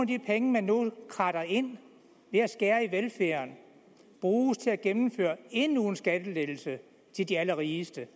de penge man nu kradser ind ved at skære ned i velfærden bruges til at gennemføre endnu en skattelettelse til de allerrigeste